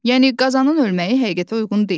Yəni qazanın ölməyi həqiqətə uyğun deyil.